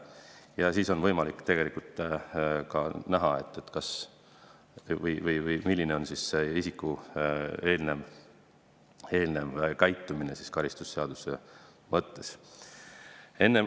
Ja sealt on võimalik näha, milline on olnud isiku eelnev käitumine mõttes.